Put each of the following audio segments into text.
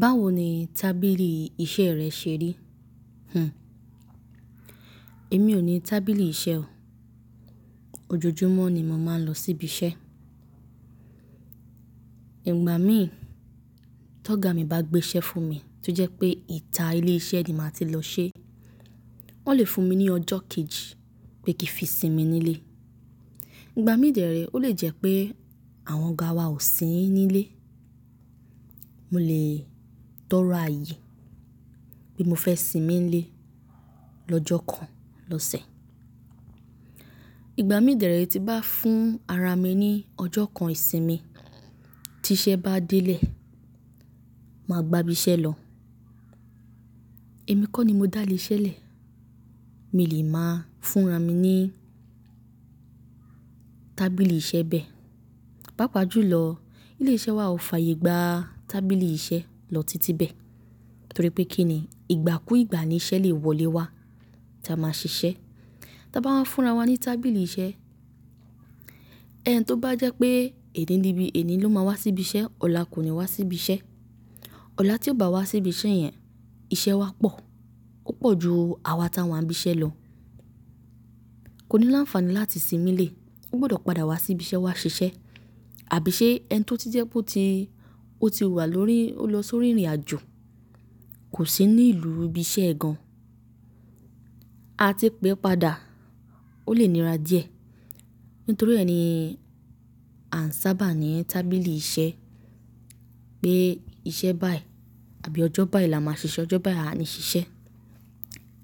Báwo ni tábìlì iṣẹ́ rẹ ṣe rí? Hhm. Èmi ò ní tábìlì iṣẹ́ o. Ojojúmọ́ ni mo màá ń lọ síbi iṣẹ́. Ìgbà mí tóga mi bá gbé iṣẹ́ fún mi tó jẹ́ pé ìta ilé iṣẹ́ ni màá ti lọ ṣe. Wọ́n lè fún mi ní ọjọ kejì pé kí n fi sinmi nílé. Ìgbà mí dẹ̀rẹ̀ ó lè jẹ́ pé àwọn ọ̀gá wa ò sí nílé. Mo lè tọrọ ààyè pé mo fẹ́ sinmi nílé lọ́jọ́ kan lọ́sẹ̀. Ìgbà mí dẹ̀rẹ̀ ti bá fún ara mi ní ọjọ́ kan ìsinmi tí iṣẹ́ bá délé, màá gba ibi iṣẹ́ lọ. Èmi kọ́ ni mo dá ilé iṣẹ́ lẹ̀. Mi lè máa fúnra mi ní tábìlì iṣẹ́ bẹ́ẹ̀. Pàápa jùlọ ilé iṣẹ́ wa ò fàyè gba tábìlì iṣẹ́ lọ títí bẹ́ẹ̀ nítorí pé kí ni ìgbà kú ìgbà ni iṣẹ́ lè wọlé wá tí a máa ṣiṣẹ́. Tí a bá máa fúnra wa ní tábìlì iṣẹ́, ẹni tó bá jẹ́ pé ẹni níbí ẹni ló máa wá sí ibi iṣẹ́ ọ̀la kò ní wá sí ibi iṣẹ́. Ọ̀la tí ó bá wá sí ibi iṣẹ́ yẹn, iṣẹ́ wa pọ̀. Ó pọ̀ ju àwa táa wá n ibi iṣẹ́ lọ. Kò ní láǹfààní láti sinmi lé, ó gbọdọ̀ padà wá sí ibi iṣẹ́ wá ṣiṣẹ́. Àbí ṣe ẹni tó ti jẹ́ pé ó ti, ó ti wà lórí, ó lọ sórí ìrìnàjò kò sì ní ìlú ibi iṣẹ́ gan-an a ti pẹ́ padà ó lè níra díẹ̀. Nítorí ẹ ni a ń sábà ní tábìlì iṣẹ́ pé iṣẹ́ báyìí àbí ọjọ́ báyìí la máa ṣiṣẹ́. Ọjọ́ báyìí a ní ṣiṣẹ́.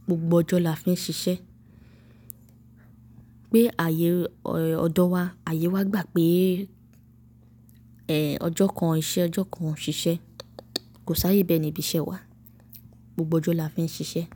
Gbogbo ọjọ́ la fi ń ṣiṣẹ́. Pé àyè ọ̀dọ wa, àyè wa gbà pé ọjọ kan iṣẹ́ o jo kan ò ṣiṣẹ, kò si àyè be ní ibiṣẹ́ wa. Gbogbo ọjọ́ la fi ń ṣiṣẹ́.